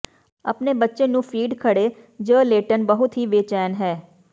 ਆਪਣੇ ਬੱਚੇ ਨੂੰ ਫੀਡ ਖੜ੍ਹੇ ਜ ਲੇਟਣ ਬਹੁਤ ਹੀ ਬੇਚੈਨ ਹੈ